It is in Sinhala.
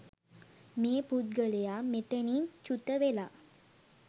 මේ පුද්ගලයා මෙතැනින් චුුුත වෙලා